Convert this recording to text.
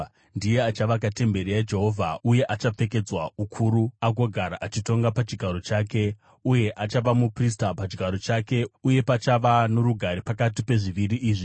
Ndiye achavaka temberi yaJehovha, uye achapfekedzwa ukuru agogara achitonga pachigaro chake. Uye achava muprista pachigaro chake. Uye pachava norugare pakati pezviviri izvi.’